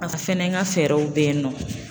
Pasa fɛnɛ n ka fɛɛrɛw bɛ yen nɔ.